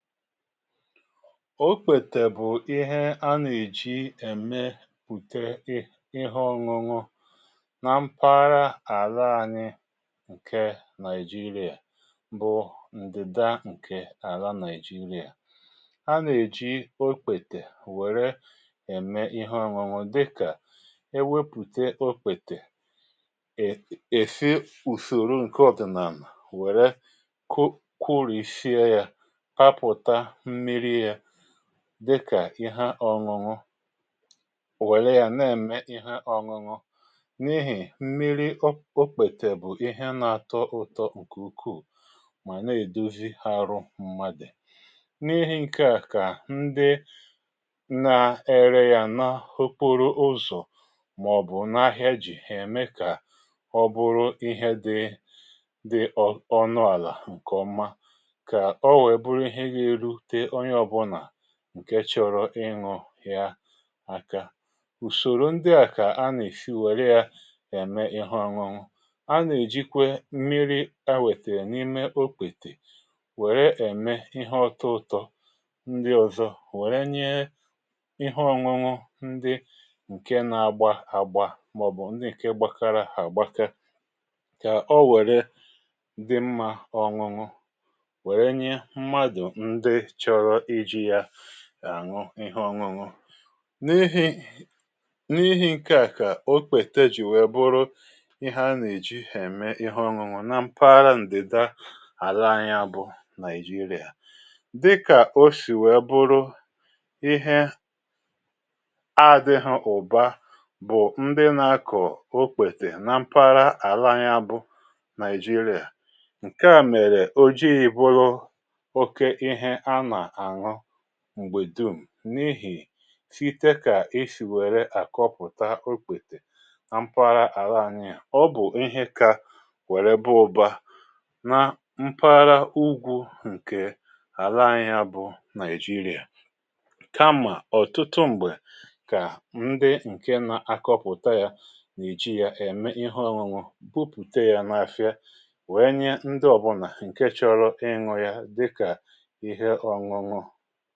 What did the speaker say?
Okpètè bụ̀ ihe a nà-èji ème pùte ihi ọñụñụ nà mpaghara àla anyị ǹkè Naijiria bụ̀ ǹdị̀da ǹkè àla Naijiria. A nà-èji okpètè wère ème ihe ọñụñụ dịkà e wepùte okpètè è, èsi ùsòrò ǹke ọ̀dìnànà wère ku kurisie ya, paputa mmiri ya dịkà ihe ọñuñụ wèrè ya na-eme ihe ọñụñụ n’ihi mmiri okpètè bụ̀ ihe na-atọ ụtọ ǹkè ukwuù màna èdozi arụ mmadụ. N’ihi ǹke à kà ndị na-ere ya n’okporoụzọ̀ mà ọ̀ bụ̀ n’ahịa jì hà ème kà ọ bụrụ ihe dị dị ọnụ àlà ǹkè ọma ka owere bụrụ ihe ga erute onye ọbụna ǹke chọrọ ịṅụ ya aka. Ùsòrò ndị à kà a nà-èsi wère ya ème ihe ọṅụṅụ a nà-èjikwe mmiri̇ ewètèrè n’ime okpètè wère ème ihe ọtọ ụtọ ndị ọ̀zọ wère nye ihe ọṅụṅụ ndị ǹke na-agba àgba màọbụ̀ ndị nke gbakara àgbaka kà o wère dị mma ọṅụṅụ wèrè nye mmadụ ndị chọrọ iji ya àṅụ ihe ọṅụṅụ. N’ihi n’ihi ǹke à kà okpèta jì wee bụrụ ihe a nà-èji hà-ème ihe ọṅụṅụ na mpaghara ǹdida àla anyị abụ̇ naịjirịà dịkà o si wèe bụrụ ihe adị̇hị̇ ụ̀ba bụ̀ ndị nà-akọ̀ okpète na mpaghara àla anyị a bụ̇ naịjirịà. Nke à mèrè ojii bụrụ òkè ihe ana aṅu m̀gbè dum, n’ihì site kà esì wère àkọpụ̀ta okpètè na mpaghara àla anyị ȧ, ọ bụ̀ ihe ka wèrè ba ụ̀ba na mpaghara ugwu̇ ǹkè àla anyị̇ ȧ bụ̀ Naijiria, kamà ọ̀tụtụ m̀gbè kà ndị ǹke na-akọpụta yȧ n’eji yȧ ème ihe òṅuṅu bupùte yȧ n’àfịa wèe nye ndị ọ̀bụnà ǹke chọrọ ịṅu yȧ dika ihe ọṅụṅụ.